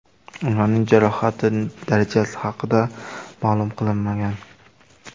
Ularning jarohati darajasi haqida ma’lum qilinmagan.